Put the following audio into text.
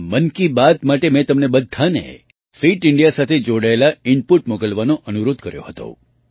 આ મન કી બાત માટે મેં તમને બધાને ફિટ ઇન્ડિયા સાથે જોડાયેલાં ઇનપૂટ મોકલવાનો અનુરોધ કર્યો હતો